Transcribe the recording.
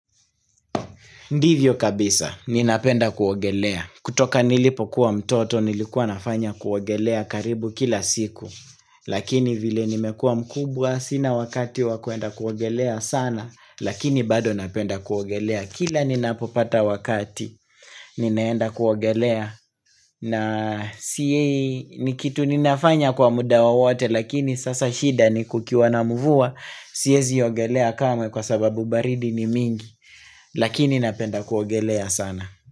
Ndivyo kabisa, ninapenda kuogelea. Kutoka nilipokuwa mtoto, nilikuwa nafanya kuogelea karibu kila siku. Lakini vile nimekua mkubwa sina wakati wa kuenda kuogelea sana, lakini bado napenda kuogelea. Kila ninapopata wakati ninaenda kuogelea na siyei ni kitu ninafanya kwa muda wowote lakini sasa shida ni kukiwa na mvua siwezi ogelea kamwe kwa sababu baridi ni mingi Lakini napenda kuogelea sana.